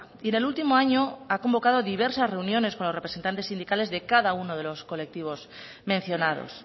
y en el último año ha convocado diversas reuniones con los representantes sindicales de cada uno de los colectivos mencionados